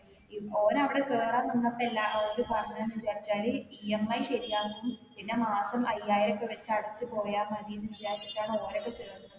ഉം ഓന് അവിടെ കേറാൻ നിന്നപ്പൊ എല്ലാ ഓര് പറഞ്ഞത്ന്ന് വിചാരിച്ചാല് EMI ശരിയാക്കി പിന്നെ മാസം അയ്യായിരം ഒക്കെ വെച്ച് അടിച്ച് പോയ മതീന്ന് വിചാരിച്ചിട്ടാണ് ഓനൊക്കെ ചേർന്നത്